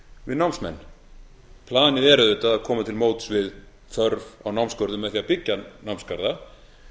við námsmenn planið er auðvitað að koma til móts við þörf á námsgörðum með því að byggja námsgarða